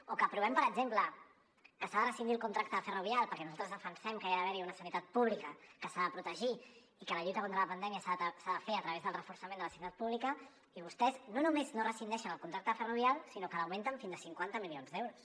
o que aprovem per exemple que s’ha de rescindir el contracte de ferrovial perquè nosaltres defensem que hi ha d’haver una sanitat pública que s’ha de protegir i que la lluita contra la pandèmia s’ha de fer a través del reforçament de la sanitat pública i vostès no només no rescindeixen el contracte a ferrovial sinó que l’augmenten fins a cinquanta milions d’euros